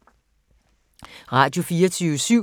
Radio24syv